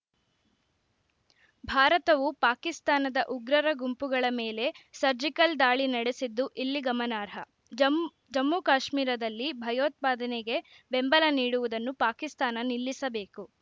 ಭಾರತವು ಪಾಕಿಸ್ತಾನದ ಉಗ್ರರ ಗುಂಪುಗಳ ಮೇಲೆ ಸರ್ಜಿಕಲ್‌ ದಾಳಿ ನಡೆಸಿದ್ದು ಇಲ್ಲಿ ಗಮನಾರ್ಹ ಜಮ್ ಜಮ್ಮುಕಾಶ್ಮೀರದಲ್ಲಿ ಭಯೋತ್ಪಾದನೆಗೆ ಬೆಂಬಲ ನೀಡುವುದನ್ನು ಪಾಕಿಸ್ತಾನ ನಿಲ್ಲಿಸಬೇಕು